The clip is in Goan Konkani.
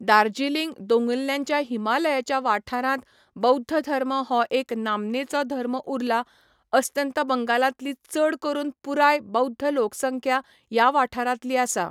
दार्जिलिंग दोंगुल्ल्यांच्या हिमालयाच्या वाठारांत बौध्द धर्म हो एक नामनेचो धर्म उरला, अस्तंत बंगालांतली चड करून पुराय बौध्द लोकसंख्या ह्या वाठारांतली आसा.